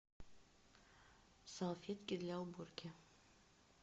салфетки для уборки